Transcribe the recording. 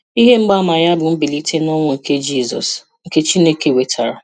Ihe mgbaama ya bụ mbilite n'ọnwụ nke Jizọs nke Chineke wetara.